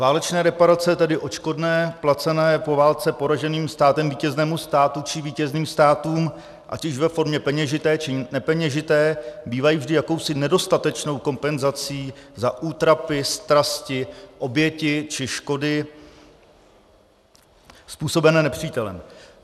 Válečné reparace, tedy odškodné placené po válce poraženým státem vítěznému státu či vítězným státům ať již ve formě peněžité, či nepeněžité, bývají vždy jakousi nedostatečnou kompenzací za útrapy, strasti, oběti či škody způsobené nepřítelem.